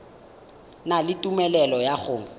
na le tumelelo ya go